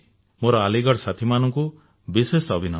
ମୋର ଆଲିଗଡ ସାଥୀମାନଙ୍କୁ ବିଶେଷ ଅଭିନନ୍ଦନ